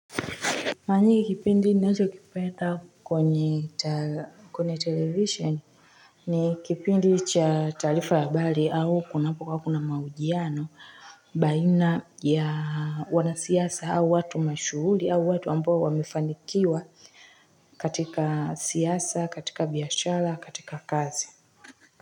Kwa nini hiki kipindi ninachokipenda kwenye television ni kipindi cha taarifa ya habari au kunapokuwa kuna mahojiano baina ya wanasiasa au watu mashuhuri au watu ambao wamefanikiwa katika siasa, katika biashara, katika kazi.